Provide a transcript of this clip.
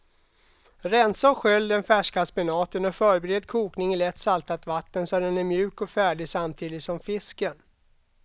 Rensa och skölj den färska spenaten och förbered kokning i lätt saltat vatten så att den är mjuk och färdig samtidigt som fisken.